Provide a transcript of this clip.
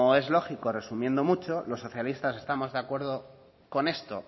es lógico resumiendo mucho los socialistas estábamos de acuerdo con esto